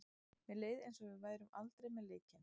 Mér leið eins og við værum aldrei með leikinn.